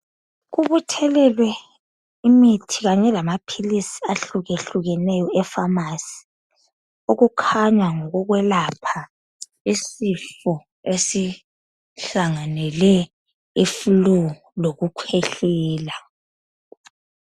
Kubuthelelwe imithi kanye lamaphilisi ahlukehlukeneyo efamasi okukhanya ngokokwelapha isifo esihlanganele i flue lokukhwehlela.